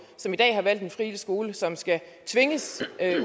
som i dag har valgt den frie skole som skal tvinges